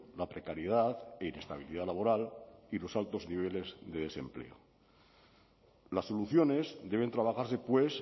la precariedad e inestabilidad laboral y los altos niveles de desempleo las soluciones deben trabajarse pues